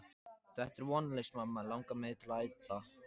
Þetta er vonlaust mamma langar mig til að æpa.